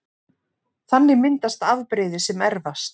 Þannig myndast afbrigði sem erfast